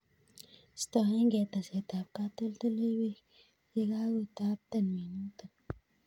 Istoeg'ei teset ab katoltoliwek ye kako tapton minutik